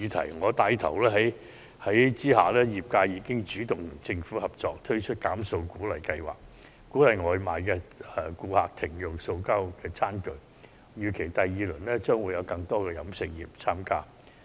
在我牽頭下，業界已經主動與政府合作，推出"減塑"鼓勵計劃，鼓勵外賣顧客減用塑膠餐具，預期第二輪將有更多食肆參加。